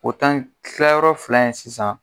O tan tilayɔrɔ fila in sisan